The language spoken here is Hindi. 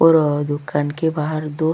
और ओ दुकान के बाहर दो--